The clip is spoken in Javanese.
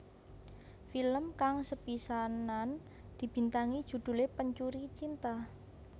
Film kang sepisanan dibintangi judhulé Pencuri Cinta